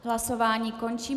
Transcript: Hlasování končím.